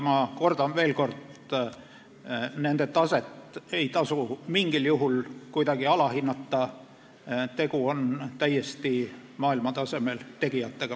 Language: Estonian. Ma kordan veel kord: nende taset ei tasu mingil juhul kuidagi alahinnata, tegu on täiesti maailmatasemel tegijatega.